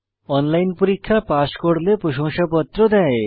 online পরীক্ষা pass করলে প্রশংসাপত্র দেয়